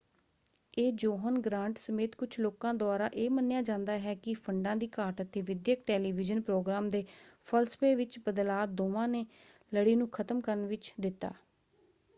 ਇਹ John Grant ਸਮੇਤ ਕੁਝ ਲੋਕਾਂ ਦੁਆਰਾ ਇਹ ਮੰਨਿਆ ਜਾਂਦਾ ਹੈ ਕਿ ਫੰਡਾਂ ਦੀ ਘਾਟ ਅਤੇ ਵਿੱਦਿਅਕ ਟੈਲੀਵਿਜ਼ਨ ਪ੍ਰੋਗਰਾਮ ਦੇ ਫਲਸਫੇ ਵਿੱਚ ਬਦਲਾਅ ਦੋਵਾਂ ਨੇ ਲੜੀ ਨੂੰ ਖ਼ਤਮ ਕਰਨ ਵਿੱਚ ਦਿੱਤਾ।